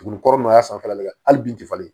Tugunnin kɔrɔ n y'a sanfɛla lajɛ hali bin tɛ falen